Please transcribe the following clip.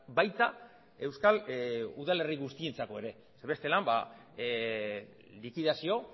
baita euskal udalerri guztientzako ere zeren bestela likidazio